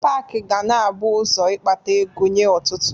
Pak ga na-abụ ụzọ ịkpata ego nye ọtụtụ